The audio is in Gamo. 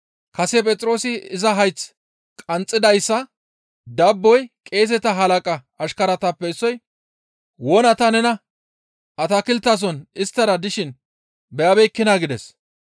Kase Phexroosi iza hayth qanxxidayssa dabboy qeeseta halaqa ashkaratappe issoy, «Wona ta nena atakilteson isttara dishin beyabeekkinaa?» gides.